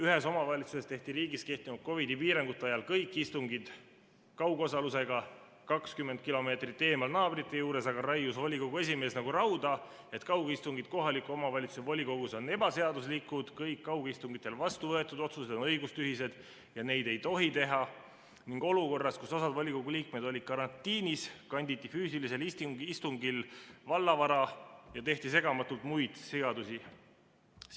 Ühes omavalitsuses tehti riigis kehtivate COVID‑i piirangute ajal kõik istungid kaugosalusega, 20 kilomeetrit eemal naabrite juures aga raius volikogu esimees nagu rauda, et kaugistungid kohaliku omavalitsuse volikogus on ebaseaduslikud, kõik kaugistungitel vastu võetud otsused on õigustühised ja neid ei tohi teha, ning olukorras, kus osa volikogu liikmeid oli karantiinis, kanditi füüsilisel istungil valla vara ja tehti segamatult muid sigadusi.